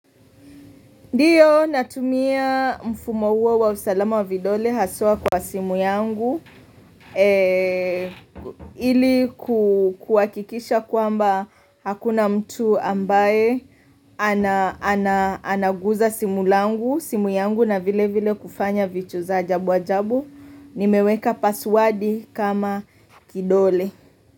Ndiyo natumia mfumo huo wa usalama wa vidole haswa kwa simu yangu hili kuhakikisha kwamba hakuna mtu ambaye anaguza simu yangu na vile vile kufanya vitu za ajabu ajabu Nimeweka pasiwadi kama kidole.